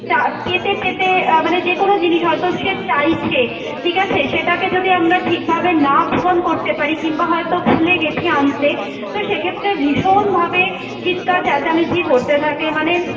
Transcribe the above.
চা পেতে পেতে আহ মানে যেকোনো জিনিস হয়তো সে চাইছে, ঠিক আছে? সেটাকে যদি আমরা ঠিকভাবে না পূরণ করতে পারি কিংবা হয়তো ভুলে গেছি আনতে, তো সেক্ষেত্রে ভীষণ ভাবে চিৎকার চেঁচামেচি করতে থাকে মানে